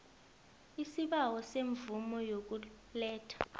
isibawo semvumo yokuletha